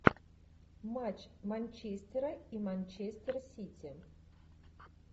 матч манчестера и манчестер сити